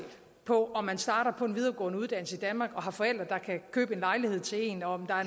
på om man starter på en videregående uddannelse i danmark og har forældre der kan købe en lejlighed til en om der